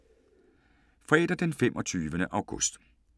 Fredag d. 25. august 2017